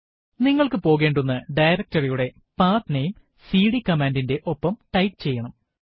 നിങ്ങൾക്ക് പോകേണ്ടുന്ന directory യുടെ pathnameസിഡി കമാൻഡ് ന്റെ ഒപ്പം ടൈപ്പ് ചെയ്യണം